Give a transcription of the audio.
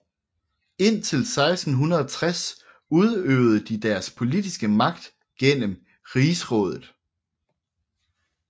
Indtil 1660 udøvede de deres politiske magt gennem Rigsrådet